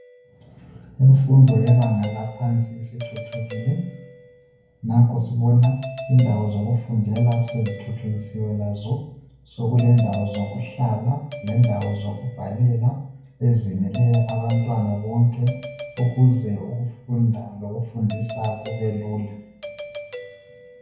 Imfundo yebanga laphansi isithuthukile nanko sibona indawo zokufundela sezithuthukisiwe lazo sekulendawo zokuhlala lendawo zokubhalela ezeneleyo abantwana bonke ukuze ukufunda lokufundisa kubelula.